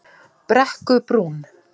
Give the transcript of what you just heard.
Tjarnarbrú